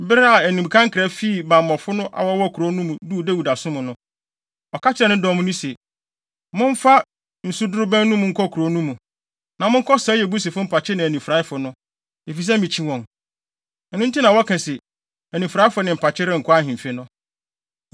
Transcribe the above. Bere a animka nkra fi bammɔfo a wɔwɔ kurow no mu duu Dawid asom no, ɔka kyerɛɛ ne dɔm no se, “Momfa nsudorobɛn no mu nkɔ kurow no mu, na monkɔsɛe Yebusifo mpakye ne anifuraefo no, efisɛ mikyi wɔn! Ɛno nti na wɔka se, ‘Anifuraefo ne mpakye’ renkɔ ahemfi” no.